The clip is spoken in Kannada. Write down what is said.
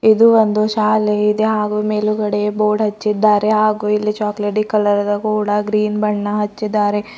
ಇದು ಒಂದು ಶಾಲೆ ಇದೆ ಹಾಗು ಮೇಲುಗಡೆ ಬೋರ್ಡ್ ಹಚ್ಚಿದ್ದಾರೆ ಹಾಗು ಇಲ್ಲಿ ಚಾಕೋಲೇಟಿ ಕಲರದ ಕೂಡ ಗ್ರೀನ್ ಬಣ್ಣ ಹಚ್ಚಿದ್ದಾರೆ.